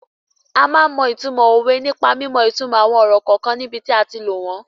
A máa ń mọ ìtumọ̀ òwe nípa mímọ ìtumò àwọn ọ̀rọ̀ kọ̀ọ̀kan níbi tí a ti lò wọ́n.